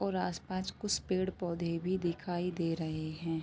और आस-पांच कुस पेड़-पौधे भी दिखाई दे रहे हैं।